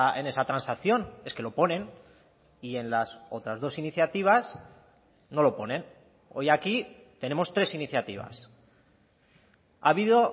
en esa transacción es que lo ponen y en las otras dos iniciativas no lo ponen hoy aquí tenemos tres iniciativas ha habido